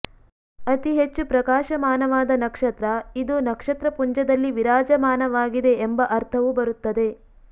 ಅತಿ ಹೆಚ್ಕು ಪ್ರಕಾಶಮಾನವಾದ ನಕ್ಷತ್ರ ಇದು ನಕ್ಷತ್ರ ಪುಂಜದಲ್ಲಿ ವಿರಾಜಮಾನವಾಗಿದೆ ಎಂಬ ಅರ್ಥವೂ ಬರುತ್ತದೆ